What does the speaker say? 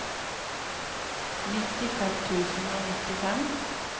nittifem tusen og nittifem